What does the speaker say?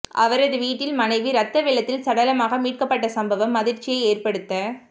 அவரது வீட்டில் மனைவி ரத்த வெள்ளத்தில் சடலமாக மீட்கப்பட்ட சம்பவம் அதிர்ச்சியை ஏற்படுத